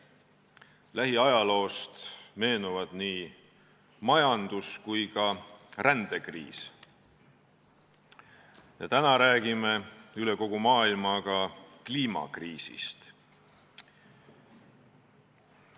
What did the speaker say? Lähiajaloost meenuvad nii majandus- kui ka rändekriis, täna räägime üle kogu maailma kliimakriisist.